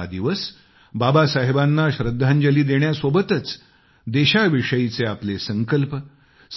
हा दिवस बाबासाहेबांना श्रद्धांजली देण्यासोबतच देशाविषयीचे आपले संकल्प